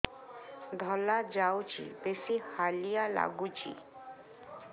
ଧଳା ଯାଉଛି ବେଶି ହାଲିଆ ଲାଗୁଚି